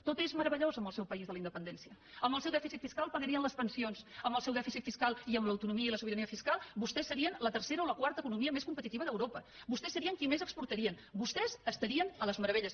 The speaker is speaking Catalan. tot és meravellós en el seu país de la independència amb el seu dèficit fiscal pagarien les pensions amb el seu dèficit fiscal i amb l’autonomia i la sobirania fiscal vostès serien la tercera o la quarta economia més competitiva d’europa vostès serien qui més exportarien vostès estarien a les meravelles